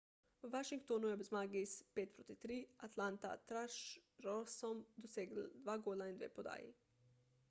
v washingtonu je ob zmagi s 5:3 proti atlanta thrashersom dosegel 2 gola in 2 podaji